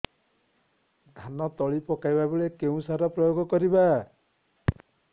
ଧାନ ତଳି ପକାଇବା ବେଳେ କେଉଁ ସାର ପ୍ରୟୋଗ କରିବା